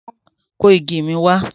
Kó igi mi wá!